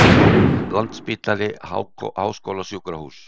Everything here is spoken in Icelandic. Landspítali Háskólasjúkrahús.